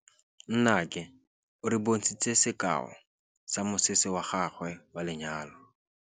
Nnake o re bontshitse sekaô sa mosese wa gagwe wa lenyalo.